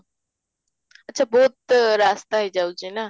ଆଚ୍ଛା ବହୁତ ରାସ୍ତା ହେଇ ଯାଉଛି ନା?